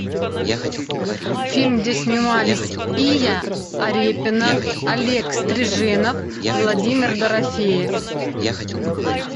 фильм где снимались ия арепина олег стриженов владимир дорофеев